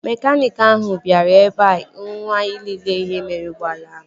Mekaniiki ahụ bịara ebea ụnyaahụ ịlele ihe mere ụgbọala ahụ